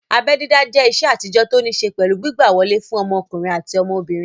Abẹ́ dídá jẹ́ ìṣe àtijọ́ tó ní ṣé pẹ̀lú gbígbà wọlé fún ọmọkùnrin àti ọmọbìnrin